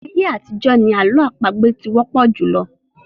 Ayé àtijọ́ ni àlọ́ àpagbè ti wọ́pọ̀ jùlọ.